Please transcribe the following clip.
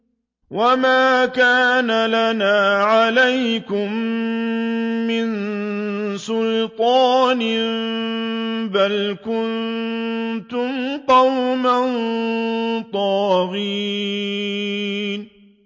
وَمَا كَانَ لَنَا عَلَيْكُم مِّن سُلْطَانٍ ۖ بَلْ كُنتُمْ قَوْمًا طَاغِينَ